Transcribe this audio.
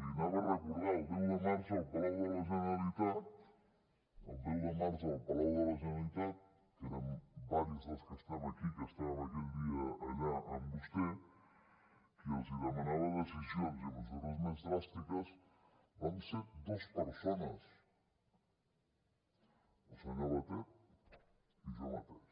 recordar el deu de març al palau de la generalitat el deu de març al palau de la generalitat que érem diversos dels que estem aquí que estàvem aquell dia allà amb vostè qui els demanava decisions i mesures més dràstiques vam ser dos persones el senyor batet i jo mateix